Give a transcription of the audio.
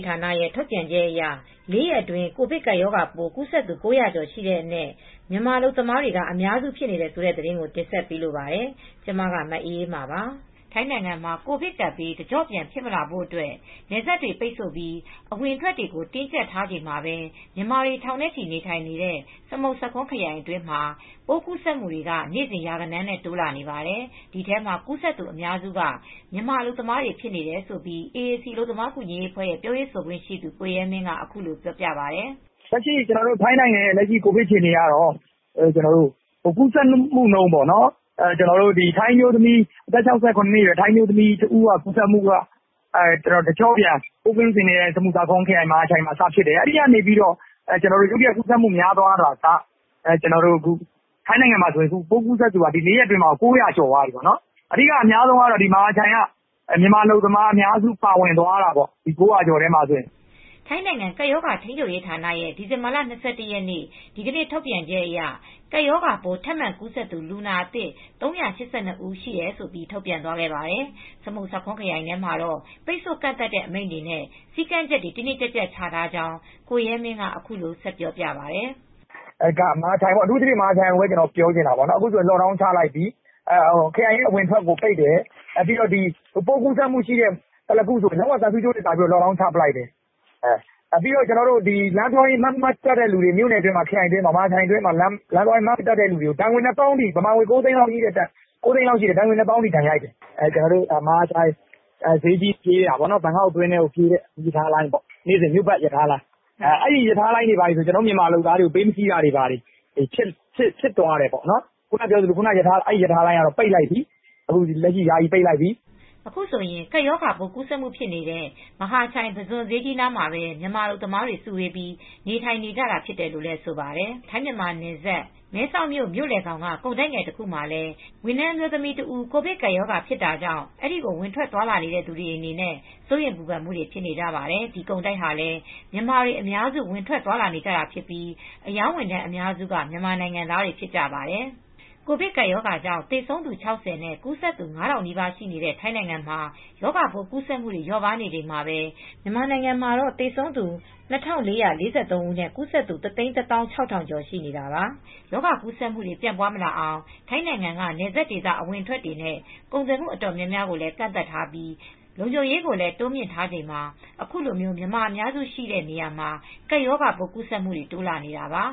ဌာနရဲ့ ထုတ်ပြန်ချက်အရ ၄ ရက်အတွင်း ကိုဗစ်ကပ်ပိုးကူးစက်သူ ၉၀၀ ကျော်ရှိတဲ့အနက် မြန်မာအလုပ်သမားတွေက အများစုဖြစ်နေတယ်ဆိုတဲ့သတင်းကို တင်ဆက်ပေးလိုပါတယ်။ ဗွီအိုအေမြန်မာပိုင်း သတင်းထောက် မအေးအေးမာက ထိုင်းမြန်မာနယ်စပ်ကနေ သတင်းပေးပို့ထားပါတယ်။ ထိုင်းနိုင်ငံမှာ ကိုဗစ်ကပ်ဘေးတကျော့ပြန် ဖြစ်မလာဖို့အတွက် နယ်စပ်တွေ ပိတ်ဆို့ပြီး အဝင်အထွက်တွေကို တင်းကြပ်နေချိန်မှာပဲ မြန်မာတွေ ထောင်နဲ့ချီနေထိုင်နေတဲ့ စမုတ်ဆာခွန်းခရိုင်အတွင်းမှာ ပိုးကူးစက်တွေက နေစဉ်ရာဂဏန်းနဲ့ တိုးလာနေပါတယ်။ ဒီထဲမှာကူးစက်သူ အများစုက မြန်မာအလုပ်သမားတွေ ဖြစ်နေတယ်လို့ AAC အလုပ်သမားကူညီရေးအဖွဲ့က ပြောရေးဆိုခွင့်ရှိသူ ကိုရဲမင်းက အခုလိုပြောပါတယ်။ "လက်ရှိထိုင်းနိုင်ငံရဲ့ ကိုဗစ်အခြေအနေကတော့ ကူးစက်မှုနှုန်း အသက် ၆၇ အရွယ်ထိုင်းအမျိုးသမီးကြီး တဦးကနေ စတင်ကူးစက်ပြီးတော့ တကျော့ပြန် စမုတ်ဆာခွန်းခရိုင်မဟာချိုင်မှာ စဖြစ်တယ်။ အခု ဆိုရင် ၄ ရက်အတွင်းမှာဆိုရင် ကူးစက်သူက လူ ၉၀၀ ကျော်သွားပြီ။ အဲဒီထဲမှာ မြန်မာအလုပ်သမားတွေက အများဆုံး ကူးစက်တာပေါ့... ၉၀၀ ကျော်ထဲမှာပေါ့။" ထိုင်းနိုင်ငံ ကပ်ရောဂါ ထိန်းချုပ်ရေး ဌာနရဲ့ ဒီဇင်ဘာလ ၂၁ ရက် ဒီကနေ့ထုတ်ပြန်ချက်အရ ကပ်ရောဂါပိုး ထပ်မံကူးစက်သူ လူနာ ၃၈၂ ဦး ရှိတယ်လို့ ထုတ်ပြန်ခဲ့ပါတယ်။ စမုတ်ဆာခွန်းခရိုင်ထဲမှာတော့ ပိတ်ဆို့ကန့်သတ်တဲ့အမိန့်တွေနဲ့ စည်းကမ်းချက်တွေ တင်းတင်းကြပ်ကြပ်ချထားကြောင်း ကိုရဲမင်းက အခုလိုဆက်ပြောပြပါတယ် "မဟာချိုင်ကိုပြောချင်တာက အခုဆို ပိုးကူးစက်မှု ရှိတဲ့သလာကွန်း ကို သံဆူးကြိုးတွေကာပြီး lock down ချလိုက်တယ်။ လမ်းသွားရင် မြို့နယ်ခရိုင်အတွင်းမှာ Mask မတပ်တဲ့သူတွေကို ဒဏ်ငွေ ဘတ်ငွေ ၂၀,၀၀၀ လောက်ထိ ဒဏ်ငွေရိုက်တယ်။ မြန်မာငွေ ၉၀၀,၀၀၀ လောက်ထိရှိတယ်။ ဈေးထိပြေးတာပေါ့နော်... ဘန်ကောက်အတွင်းထဲကို ပြေးတဲ့မီးရထားလိုင်းပေါ့... နေ့စဉ်မြို့ပတ်ရထားလိုင်း။ အဲဒီရထားလိုင်းတွေဘာတွေဆို ကျနော်တို့ မြန်မာလုပ်သားတွေကို ပေးမစီးတော့တာတွေ ဖြစ်သွားတယ်။ အဲဒီရထားလိုင်းကတော့ လက်ရှိ ယာယီပိတ်လိုက်ပြီ။" အခုဆိုရင် ကပ်ရောဂါပိုး ကူးစက်မှုဖြစ်တဲ့ မဟာချိုင်ပုဇွန်ဈေးကြီးနားမှာပဲ မြန်မာအလုပ်သမားတွေ စုဝေးပြီး နေထိုင်နေကြတာဖြစ်တယ်လို့လည်း ဆိုပါတယ်။ ထိုင်းမြန်မာနယ်စပ် မဲဆောက်မြို့လယ်ခေါင်က ကုန်တိုက်ငယ်တခုမှာလည်း ဝန်ထမ်းမြန်မာအမျိုးသမီးတဦး ကိုဗစ်ကပ်ရောဂါဖြစ်တာကြောင့် အဲဒီကို ဝင်ထွက်သွားလာနေတဲ့သူတွေအနေနဲ့ စိုးရိမ်ပူပန်မှုတွေ ဖြစ်နေကြပါတယ်။ ဒီကုန်တိုက်ဟာလည်း မြန်မာတွေ အများစုဝင်ထွက်သွားလာနေတာဖြစ်ပြီး အရောင်းဝန်ထမ်းအများစုက မြန်မာနိုင်ငံသားတွေဖြစ်ကြပါတယ်။ ကိုဗစ်ကပ်ရောဂါကြောင့် သေဆုံးသူ ၆၀ နဲ့ ကူးစက်သူ ၅,၀၀၀ နီးပါး ရှိတဲ့ ထိုင်းနိုင်ငံမှာ ရောဂါပိုးကူးစက်မှုတွေ လျော့ပါးနေချိန်မှာပဲ မြန်မာနိုင်ငံမှာတော့ သေဆုံးသူ ၂,၄၄၃ ဦးနဲ့ ကူးစက်သူ ၁၁,၆၀၀၀ ကျော် ရှိနေတာပါ။ ရောဂါကူးစက်မှုတွေ ပြန့်ပွားမလာအောင် ထိုင်းနိုင်ငံက နယ်စပ်ဒေသ အဝင်အထွက်တွေနဲ့ ကုန်သွယ်မှုတွေ တော်တော်များများကိုလည်း ကန့်သတ်ထားပြီး လုံခြုံရေးကိုလည်း တိုးမြှင့်ထားချိန်မှာ အခုလို မြန်မာအများစုရှိတဲ့နေရာမှာ ကပ်ရောဂါပိုးကူးစက်မှုတွေ တိုးလာနေတာပါ